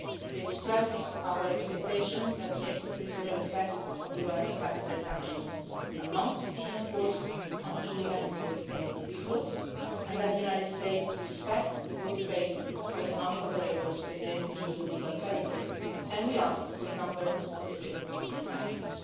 We expressed our expectation that the extra-territorial effects of US secondary sanctions will not be enforced on EU entities and individuals, and that the United States respect the good faith of economic operators within EU legal territory, and we asked for a number of specific exemptions.